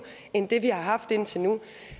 end det vi har haft indtil nu